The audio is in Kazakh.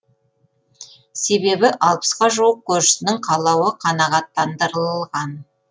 себебі алпысқа жуық көршісінің қалауы қанағаттандырылған